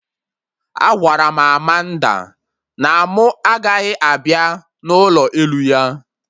Agwara m Amanda na mụ agaghị abịa n'ụlọ elu ya